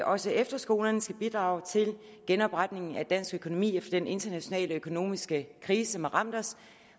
også efterskolerne skulle bidrage til genopretningen af dansk økonomi efter at den internationale økonomiske krise havde ramt os